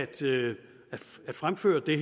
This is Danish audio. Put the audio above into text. til at fremsætte det